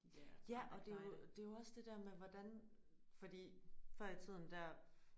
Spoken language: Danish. Ja og det er jo det er jo også det der med hvordan fordi før i tiden der